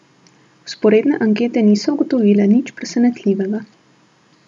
Vzporedne ankete niso ugotovile nič presenetljivega.